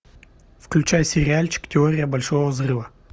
включай сериальчик теория большого взрыва